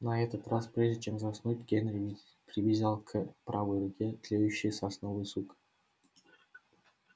но на этот раз прежде чем заснуть генри привязал к правой руке тлеющий сосновый сук